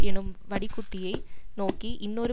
எனும் வடிகுட்டியை நோக்கி இன்னொரு